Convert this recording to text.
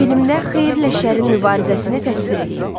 Filmdə xeyirlə şərin mübarizəsini təsvir eləyin.